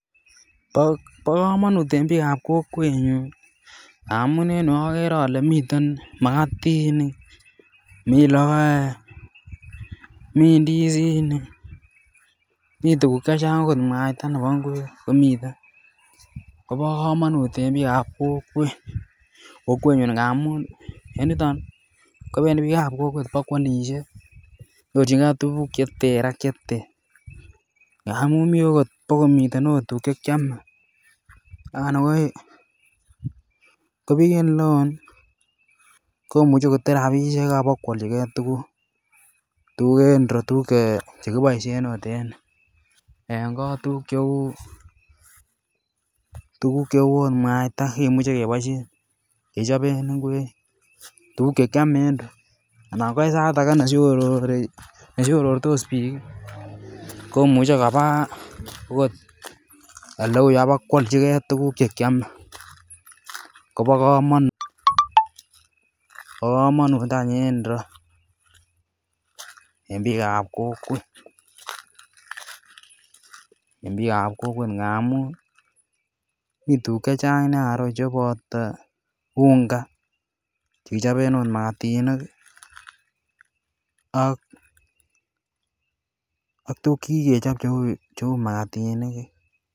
Bo komonut en biikab kokwenyun amun en yu ogere ole miten makatinik, mii logoek mii ndizinik mii tuguk chechang okot mwaita nebo ngwek komiten Kobo komonut en biikab kokwet kokwenyun ngamun en yuton kobendii biikab kokwet bo kwolishe nyorjigee tuguk che ter ak che ter. Ngamun mii okot bo komiten tuguk che kyome ak ko biik en ile oo komuche kotur rabishek ak bo kwoljigee tuguk en ireyu tuguk che kiboishen ot en kot. Tuguk che uu ot mwaita kimuche keboishen kechoben ngwek tuguk che kyome en ireyu ako en sait age ne shorortos biik ii komuche kobaa okot ele uu yuu ak bo kwoljigee tuguk che kyome Kobo komonut any en ireyu en biikab kokwet ngamun mii tuguk chechang nia en ireyu che boto unga che kichoben ot magatinik ak tuguk che kikechob che uu magatinik